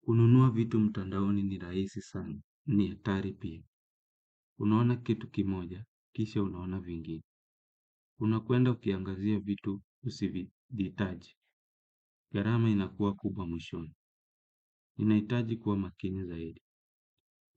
Kununua vitu mtandaoni ni rahisi sana, ni atari pia. Unaona kitu kimoja, kisha unaona vingine. Unakuenda ukiangazia vitu usivyohitaji. Gharama inakuwa kubwa mwishoni. Ninahitaji kuwa makini zaidi.